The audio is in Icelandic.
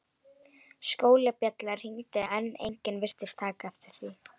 Skólabjallan hringdi en enginn virtist taka eftir því.